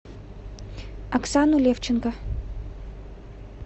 оксану левченко